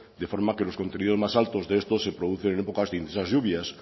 de forma que los contenidos más altos de estos se producen en épocas de intensas lluvias